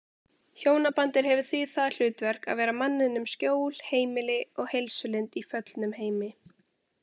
Hjónabandið hefur því það hlutverk að vera manninum skjól, heimili og heilsulind í föllnum heimi.